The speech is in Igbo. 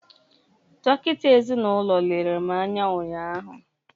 dọkịta ezinụlọ lere m anya ụnyaahụ